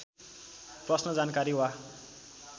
प्रश्न जानकारी वा